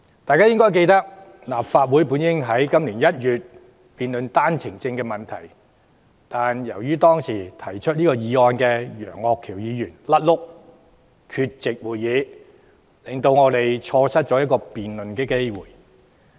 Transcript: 大家應該記得，立法會原應在今年1月辯論單程證的問題，但由於當時提出該項議案的楊岳橋議員"甩轆"缺席，令我們錯失辯論機會。